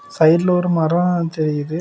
சைடுல ஒரு மரம் தெரியுது.